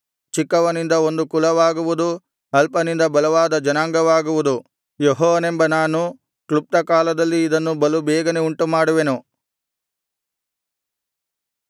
ಚಿಕ್ಕವನಿಂದ ಒಂದು ಕುಲವಾಗುವುದು ಅಲ್ಪನಿಂದ ಬಲವಾದ ಜನಾಂಗವಾಗುವುದು ಯೆಹೋವನೆಂಬ ನಾನು ಕ್ಲುಪ್ತಕಾಲದಲ್ಲಿ ಇದನ್ನು ಬಲುಬೇಗನೆ ಉಂಟುಮಾಡುವೆನು